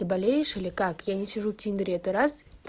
ты болеешь или как я не сижу в тиндэре это раз